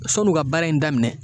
Sɔn'u ka baara in daminɛ